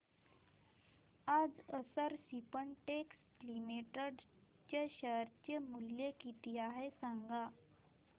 आज Akshar Spintex limited चे share मूल्य किती आहे सांगा